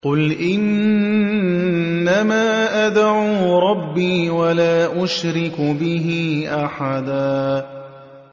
قُلْ إِنَّمَا أَدْعُو رَبِّي وَلَا أُشْرِكُ بِهِ أَحَدًا